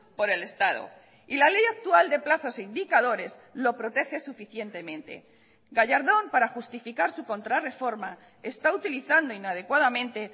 por el estado y la ley actual de plazos e indicadores lo protege suficientemente gallardón para justificar su contrarreforma está utilizando inadecuadamente